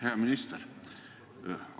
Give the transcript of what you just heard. Hea minister!